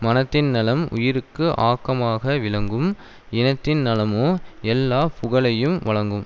மனத்தின் நலம் உயிருக்கு ஆக்கமாக விளங்கும் இனத்தின் நலமோ எல்லா புகழையும் வழங்கும்